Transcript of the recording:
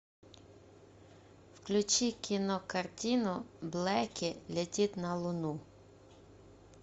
включи кинокартину блэки летит на луну